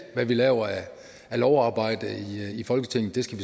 hvad vi laver af lovarbejde i folketinget skal